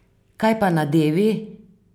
Kaj pa nadevi?